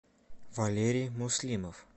валерий муслимов